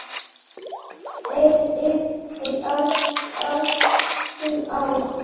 heyri hjartað slá.